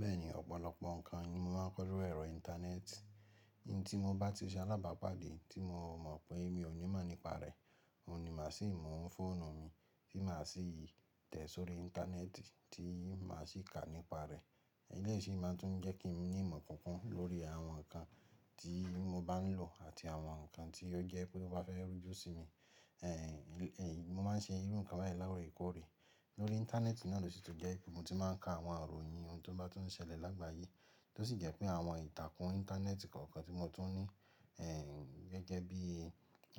Bẹ́ẹ̀ni, ọ̀pọ̀lọpọ̀ nǹkan ni mo máa ń kọ́ lóri ẹ̀rọ íńtánẹ́ẹ̀tì. Ohun tí mo bá ti ṣe alábàápàdé tí mo mọ̀ pé mi ò ní máa nípa rẹ̀, oun ni máa sì mú fóònù mi tí máa sì tẹ̀ sórí íńtánẹ́ẹ̀tì tí màá sì kà nípa rẹ̀. Elẹ́yii ṣì máà tún jẹ́ kí mi ní ìmọ̀ kikun lórí àwọn nǹkan tí mo bá ń lò àti àwọn nǹkan tí ó jẹ́ pé ó bá fẹ́ rújú sí mi. Mo máa ń ṣe irú nǹkan báyìí l'oore k'oóre. Lórí íńtánẹ́ẹ̀tì náà ló sì tun jẹ́ ibi ti mo ti máa ń ka àwọn iroyin ohun tó bá tun ń ṣẹlẹ̀ lágbàáyé. Tó sì jẹ́ pé àwọn ìtàkùn íńtánẹ́ẹ̀tì kọ̀ọ̀kan tí mo tún ní gẹ́gẹ́ bí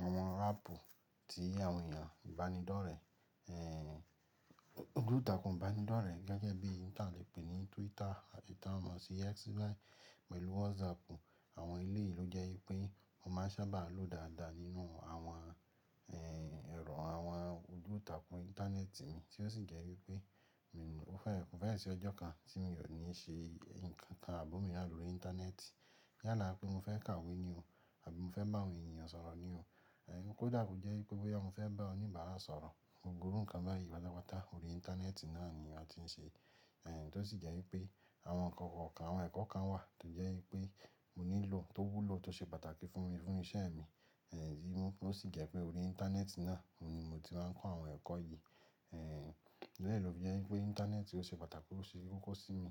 àwọn aàpù tí àwọn èèyàn ìbánidọ́rẹ̀ ojútàkùn ìbánidọ́rẹ̀ gẹ́gẹ́ bí oun ti à lè pè ní Twitter táa mọ sí X báyìí pẹ̀lú WhatsApp. Àwọn eléyii lo jẹ́ wípé mo máa sábà lò dáadáa nínú àwọn ẹ̀rọ àwọn ojútàkùn íńtánẹ́ẹ̀tì mi, tí ó sì jẹ́ wípé ó fẹ́, kofẹ́ẹ̀ sí ọjọ́ kan tí mi ò ní ṣe ǹkan kan abi omiran lọ rí íńtánẹ́ẹ̀tì. Yála pé mo fẹ́ kàwé ní ò àbí mo fẹ́ bá àwọn èniyàn sọ̀rọ̀ ní ò, kó dà ko jẹ́ wípé boyá mo fẹ́ bá oníbàárà sọ̀rọ̀, gbogbo irú nǹkan báyìí patapata orí íńtánẹ́ẹ̀tì náà ni a ti ń ṣe. Tó sì jẹ́ wípé àwọn nǹkan kọ̀ọ̀kan, àwọn ẹ̀kọ́ kan wà tó jẹ́ wípé mo nílò tó wúlò tó ṣe pàtàkì fún mi fún iṣẹ́ mi tí ó sì jẹ́ pé orí íńtánẹ́ẹ̀tì náà oun ni mo ti máa ń kọ́ àwọn ẹ̀kọ́ yìí. Tori e ló fi jẹ́ wípé íńtánẹ́ẹ̀tì ó ṣe pàtàkì ó se kokọ̀ sí mi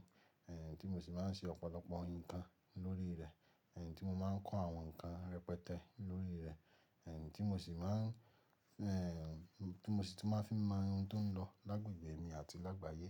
tí mo sì máa ń ṣe ọ̀pọ̀lọpọ̀ nǹkan lórí rẹ̀ tí mo máa ń kọ́ àwọn nǹkan rẹpẹtẹ lórí rẹ̀ tí mo sì máà ń tí mo sì tún máa fi mọ ohun tó ń lọ lágbègbè mi àti lágbàáyé.